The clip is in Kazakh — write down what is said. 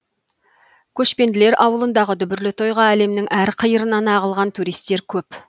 көшпенділер ауылындығы дүбірлі тойға әлемнің әр қиырынан ағылған туристер көп